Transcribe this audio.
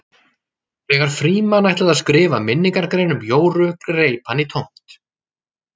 Þegar Frímann ætlaði að skrifa minningargrein um Jóru greip hann í tómt.